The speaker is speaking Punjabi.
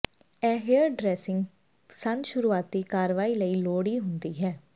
ਇਹ ਹੇਅਰਡਰੈਸਿੰਗ ਸੰਦ ਸ਼ੁਰੂਆਤੀ ਕਾਰਵਾਈ ਲਈ ਲੋੜ ਹੁੰਦੀ ਹੈ